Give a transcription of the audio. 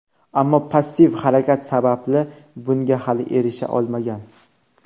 ammo passiv harakat sababli bunga hali erisha olmagan.